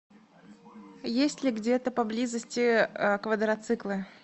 есть ли где то поблизости квадроциклы